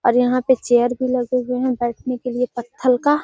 और यहाँ पे चेयर भी लगे हुए हैं बैठने के लिए पत्थल का |